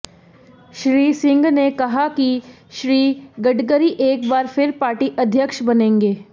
श्री सिंह ने कहा कि श्री गडकरी एक बार फिर पार्टी अध्यक्ष बनेंगे